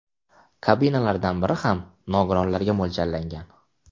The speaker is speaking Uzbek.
Kabinalardan biri ham nogironlarga mo‘ljallangan.